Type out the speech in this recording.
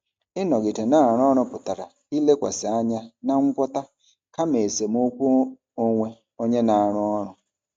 Ịnọgide na-arụ ọrụ pụtara ilekwasị anya na ngwọta kama esemokwu onwe onye na-arụ ọrụ.